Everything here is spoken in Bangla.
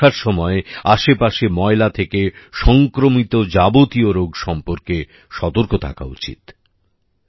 আমাদের বর্ষার সময় আশেপাশে ময়লা থেকে সংক্রমিত যাবতীয় রোগ সম্বন্ধে সতর্ক থাকা উচিত